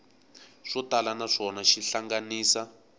swo tala naswona xi hlanganisa